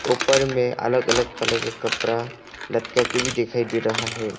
ऊपर में अलग अलग कलर के कपरा लटका के भी दिखाई दे रहा है।